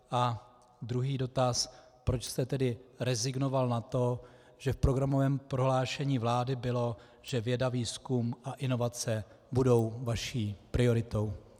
A druhý dotaz, proč jste tedy rezignoval na to, že v programovém prohlášení vlády bylo, že věda, výzkum a inovace budou vaší prioritou.